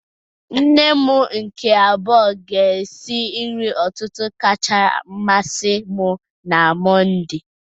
Nne m nke abuo ga-esi nri ụtụtụ kacha amasị m na Mọnde.